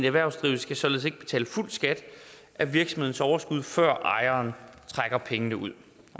erhvervsdrivende skal således ikke betale fuld skat af virksomhedens overskud før ejeren trækker penge ud